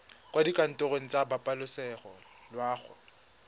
kwa dikantorong tsa pabalesego loago